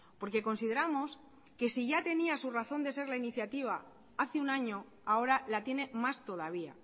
porque consideramos que si ya tenía su razón de ser la iniciativa hace un año ahora la tiene más todavía